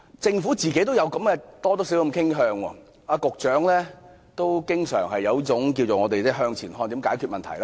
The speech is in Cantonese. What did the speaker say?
政府本身多少也有這種傾向，局長同樣經常抱着這種"向前看"的心態解決問題。